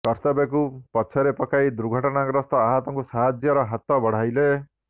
କର୍ତ୍ତବ୍ୟକୁ ପଛରେ ପକାଇ ଦୁର୍ଘଟଣାଗ୍ରସ୍ତ ଆହତଙ୍କୁ ସାହାଯ୍ୟର ହାତ ବଢାଇଲେ